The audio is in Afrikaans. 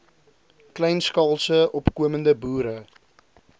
kleinskaalse opkomende boere